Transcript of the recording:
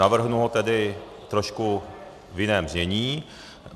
Navrhnu ho tedy trošku v jiném znění.